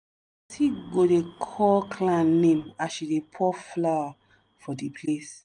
go dey call clan name as she dey pour flour for di place.